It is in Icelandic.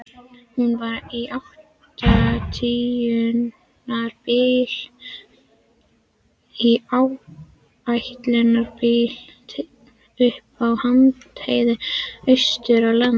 Hún var í áætlunarbíl uppi á háheiði austur á landi.